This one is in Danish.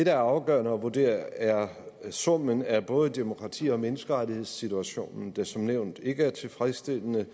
er afgørende at vurdere er summen af både demokrati og menneskerettighedssituationen der som nævnt ikke er tilfredsstillende